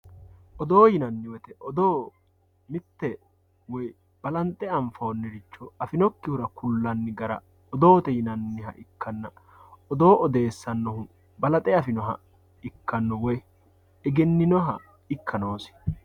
oddo yinanni woyiite odoo mitte woy balance anfoonniricho afinokkihura kullanni gara odoote yiniha ikkanna oddo odeessirannohu balaxe afinoha ikkanno woy egenninoha ikka noosi.